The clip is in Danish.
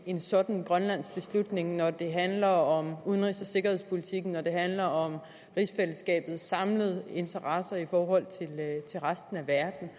en sådan grønlandsk beslutning når det handler om udenrigs og sikkerhedspolitikken når det handler om rigsfællesskabets samlede interesser i forhold til resten af verden